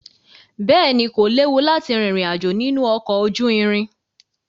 Bẹ́ẹ̀ ni, kò léwu láti rìnrìn àjò nínú ọkọ̀ ojú irin.